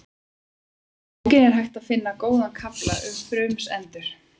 Í bókinni er hægt að finna góðan kafla um frumsendur.